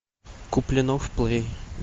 куплинов плей